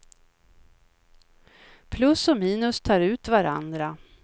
Plus och minus tar ut varandra.